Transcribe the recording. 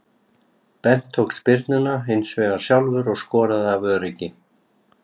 Bent tók spyrnuna hinsvegar sjálfur og skoraði af öryggi.